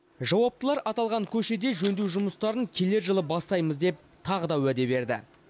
жауаптылар аталған көшеде жөндеу жұмыстарын келер жылы бастаймыз деп тағы да уәде берді